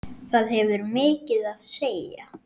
Það hefur mikið að segja.